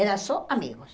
Eram só amigos.